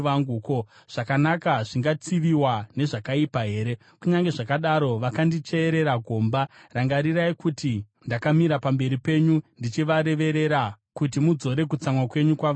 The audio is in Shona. Ko, zvakanaka zvingatsiviwa nezvakaipa here? Kunyange zvakadaro vakandicherera gomba. Rangarirai kuti ndakamira pamberi penyu ndichivareverera, kuti mudzore kutsamwa kwenyu kwavari;